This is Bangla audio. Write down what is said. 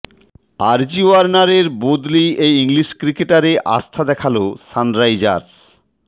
অজি ওয়ার্নারের বদলি এই ইংলিশ ক্রিকেটারে আস্থা দেখাল সানরাইজার্স